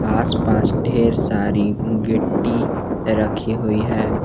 आसपास ढेर सारी गिट्टी रखी हुई है।